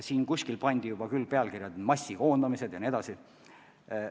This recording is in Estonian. Siin kuskil pandi juba pealkiri "Massikoondamised" vms.